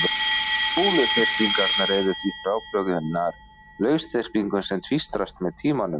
Kúluþyrpingarnar eru því frábrugðnar lausþyrpingum sem tvístrast með tímanum.